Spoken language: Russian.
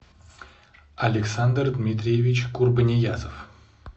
александр дмитриевич курбаниязов